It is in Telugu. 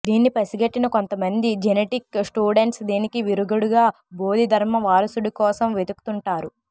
దీన్ని పసిగట్టిన కొంత మంది జెనెటిక్ స్టూడెంట్స్ దీనికి విరుగుడుగా బోధి ధర్మ వారసుడి కోసం వెతుకుతుంటారు